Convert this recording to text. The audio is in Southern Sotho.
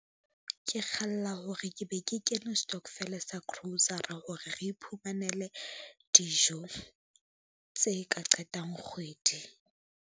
Ke kgalla hore ke be ke kene stockvel sa grocer-a hore re iphumanele dijo tse ka qetang kgwedi.